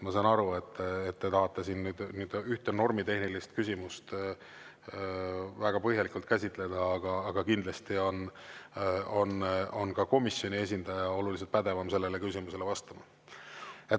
Ma saan aru, et te tahate siin ühte normitehnilist küsimust väga põhjalikult käsitleda, aga kindlasti on komisjoni esindaja oluliselt pädevam sellele küsimusele vastama.